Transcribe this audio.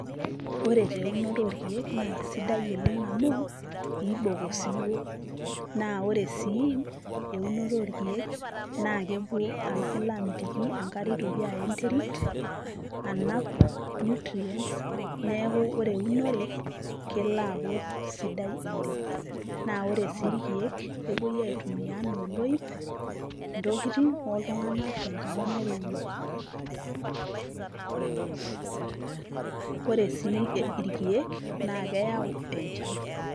Ore taa eunoto orkeek, na kesidai oleng' amu, ibok osiwuo. Na ore sii, eunoto orkeek, na kepuo kelo amitiki enkare itoki aya enterit, anap nutrients, neeku ore eunore, kelo aaku sidai oleng'. Na ore si irkeek, kepoi aitumia enaa oloip, intokiting oltung'anak, tenkata nairowua. Ore si irkeek, na keyau enchan.